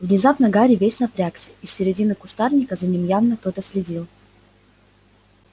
внезапно гарри весь напрягся из середины кустарника за ним явно кто-то следил